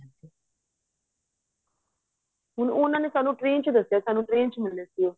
ਹੁਣ ਉਹਨਾ ਨੇ ਸਾਨੂੰ train ਵਿੱਚ ਦੱਸਿਆ ਸਾਨੂੰ train ਵਿੱਚ ਮਿਲੇ ਸੀ ਉਹ